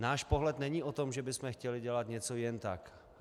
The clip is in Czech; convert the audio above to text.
Náš pohled není o tom, že bychom chtěli dělat něco jen tak.